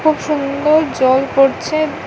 খুব সুন্দর জল পড়ছে।